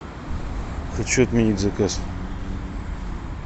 хочу отменить заказ